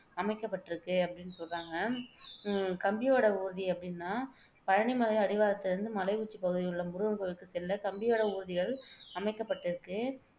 அமைக்கப்பட்டுருக்கு அப்படின்னு சொல்றாங்க உம் கம்பி வட ஊர்தி அப்படின்னா பழனி மலைன் அடிவாரத்திலிருந்து மலை உச்சி பகுதியிலுள்ள முருகன்கோவிலுக்கு செல்ல கம்பி வட ஊர்திகள் அமைக்கப்பட்டுருக்கு.